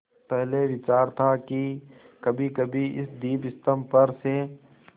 पहले विचार था कि कभीकभी इस दीपस्तंभ पर से